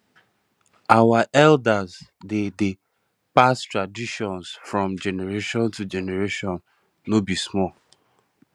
our elders dey dey pass down traditions from generation to generation no be small